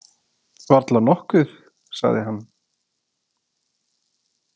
Varla nokkuð, sagði hann.